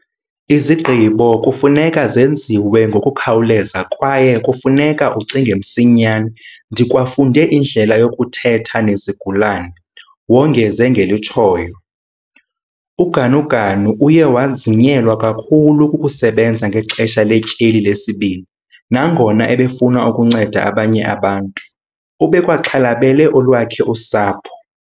"Izigqibo kufuneka zenziwe ngokukhawuleza kwaye kufuneka ucinge msinyane. Ndikwafunde indlela yokuthetha nezigulana," wongeze ngelitshoyo. UGanuganu uye wanzinyelwa kakhulu kukusebenza ngexesha letyeli lesibini. Nangona ebefuna ukunceda abanye abantu, ubekwaxhalabele olwakhe usapho.